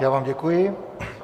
Já vám děkuji.